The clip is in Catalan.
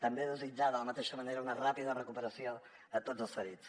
també desitjar de la mateixa manera una ràpida recuperació a tots els ferits